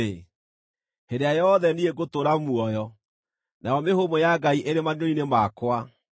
hĩndĩ ĩrĩa yothe niĩ ngũtũũra muoyo, nayo mĩhũmũ ya Ngai ĩrĩ maniũrũ-inĩ makwa,